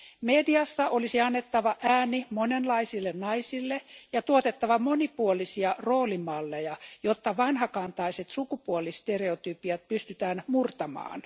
Mediassa olisi annettava ääni monenlaisille naisille ja tuotettava monipuolisia roolimalleja, jotta vanhakantaiset sukupuolistereotypiat pystytään murtamaan.